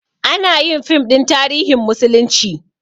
Anayin fim ɗin tarihin musulunci